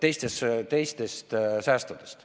... erinevalt teistest säästudest.